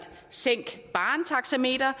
sænk barren taxameter